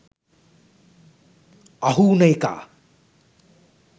අහු උන එකා